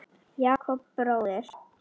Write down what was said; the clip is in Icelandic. Jakob bróðir.